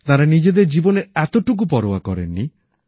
তাঁরা নিজেদের জীবনের এতোটুকু পরোয়া করেননি